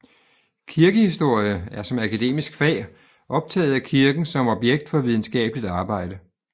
Kirkehistorie er som akademisk fag optaget af kirken som objekt for videnskabeligt arbejde